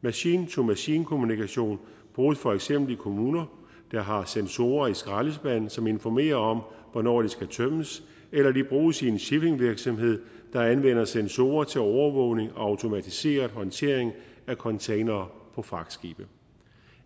machine to machine kommunikation bruges for eksempel i kommuner der har sensorer i skraldespande som informerer om hvornår de skal tømmes eller de bruges i en shippingvirksomhed der anvender sensorer til overvågning og automatiserer håndtering af containere på fragtskibe